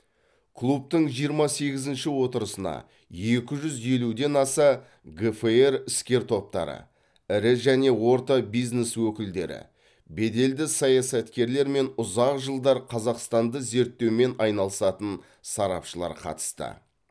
клубтың жиырма сегізінші отырысына екі жүз елуден аса гфр іскер топтары ірі және орта бизнес өкілдері беделді саясаткерлер мен ұзақ жылдар қазақстанды зерттеумен айналысатын сарапшылар қатысты